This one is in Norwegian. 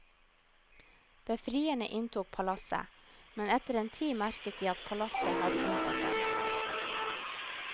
Befrierne inntok palasset, men etter en tid merket de at palasset hadde inntatt dem.